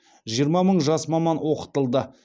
жиырма мың жас маман оқытылды